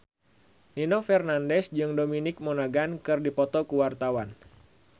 Nino Fernandez jeung Dominic Monaghan keur dipoto ku wartawan